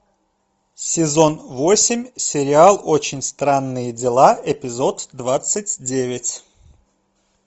сезон восемь сериал очень странные дела эпизод двадцать девять